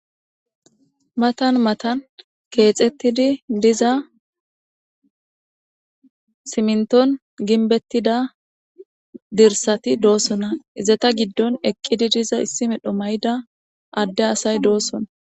matan matan keexettidi diza simnton ginbettida dirsati doosona izeta giddon eqqidi diza issi medho may7da adde asay doossona